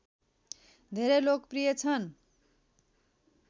धेरै लोकप्रिय छन्